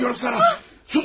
Bağırma deyirəm sənə.